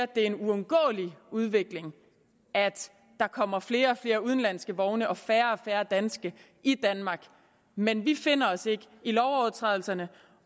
det er en uundgåelig udvikling at der kommer flere og flere udenlandske vogne og færre og færre danske i danmark men vi finder os ikke i lovovertrædelserne